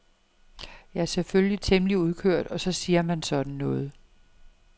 Jeg er selvfølgelig temmelig udkørt og så siger man sådan noget.